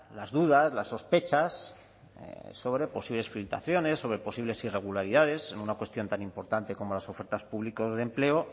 las dudas las sospechas sobre posibles filtraciones sobre posibles irregularidades en una cuestión tan importante como las ofertas públicas de empleo